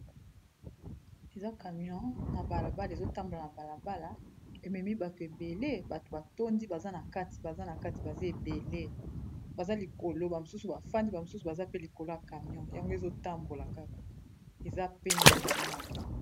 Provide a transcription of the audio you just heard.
Eza camion na balabala, ezo tambola na balabala e memi bato ebele, bato ba tondi baza na kati, baza na kati, baza ebele . Baza likolo, ba mosusu ba fandi, ba mosusu baza pe likolo ya camion yango ezo tambola kaka, eza pembe camoin yango .